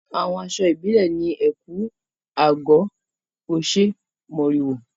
Àwọn aṣọ ìbílẹ̀ ni ẹ̀kú/àgọ̀, oṣé, mòrìwò.